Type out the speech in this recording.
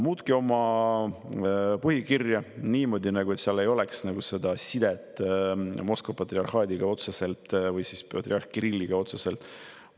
Muutke oma põhikirja niimoodi, et seal ei oleks otseselt sidet Moskva patriarhaadiga või patriarh Kirilliga!